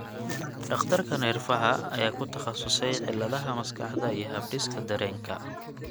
Dhakhtarka neerfaha ayaa ku takhasusay cilladaha maskaxda iyo habdhiska dareenka.